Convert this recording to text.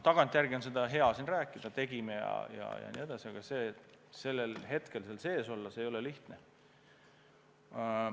Tagantjärele on hea rääkida, et me tegime seda ja nii edasi, aga sellel hetkel seal sees olla – see ei olnud lihtne.